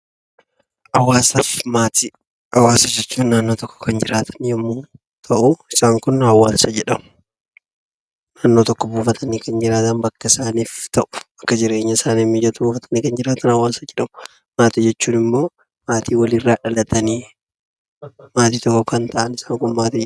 Hawaasaa fi Maatii Hawaasa jechuun naannoo tokko kan jiraatan yommuu ta'u, isaan kun hawaasa jedhamu. Naannoo tokko buufatanii kan jiraatan bakka isaaniif ta'u, bakka jireenya isaaniif mijatu buufatanii jiraatan hawaasa jedhamu. Maatii jechuun immoo, maatii wal irraa dhalatanii maatii tokko kan ta'an isaan kun maatii jedhamu.